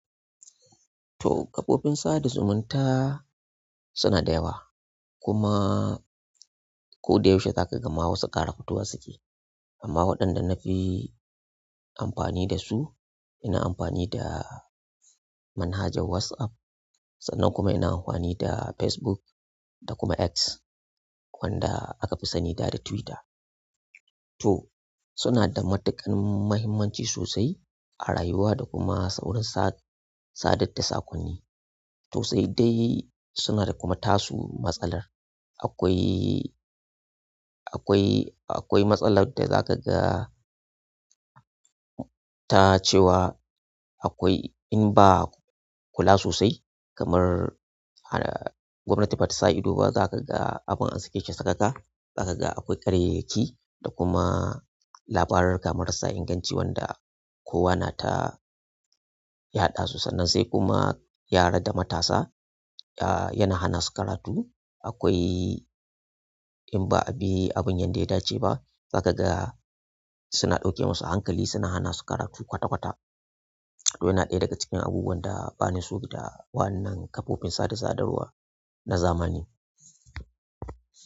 To kafofin sada zumunta suna dayawa, kuma ko da yaushe za ka ga ma wasu ƙara fitowa suke. Amma waɗanda na fi amfani da su, ina amfani da manhajar WhatsApp, sannan kuma ina amfani da Facebook da kuma X wanda aka fi sani da da Twitter. Toh, sunada matuƙar mahimmanci sosai a rayuwa da kuma sauron sadar da saƙonni to sai dai suna da kuma tasu matsalar. Akwai, akwai, akwai matsalar da za ka ga ta cewa akwai in ba kula sosai kamar gwamnatin batasa ido ba, za ka ga abin aske ce sakaka. Za ka ga akwai karyayyaki da kuma labaruruka marasa inganci wanda kowa na ta yaɗa su. Sannan sai kuma yara da matasa, ah yana hana su karatu. Akwai in ba a bi abin yadda ya dace ba, za ka ga suna ɗauke musu hankali, suna hana su karatu kwata kwata. To yana ɗaya daga cikin abubuwan da bani so da wannan kafofin sada sadarwa na zamani.